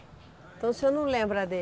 Então o senhor não lembra